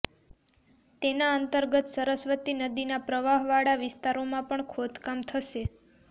તેના અંતર્ગત સરસ્વતી નદીના પ્રવાહવાળા વિસ્તારોમાં પણ ખોદકામ થશે